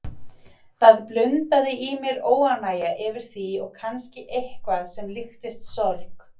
Það blundaði í mér óánægja yfir því og kannski eitthvað sem líktist sorg.